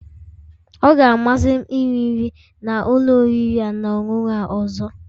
Ọ ga-amasị m iri nri na ụlọ oriri na ọṅụṅụ a ọzọ